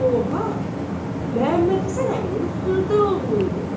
Bu oğlan Məmmədhəsən əminin xırda oğlu idi.